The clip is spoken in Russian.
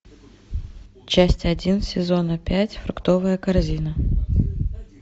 часть один сезона пять фруктовая корзина